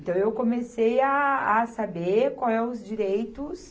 Então, eu comecei a a saber qual é os direitos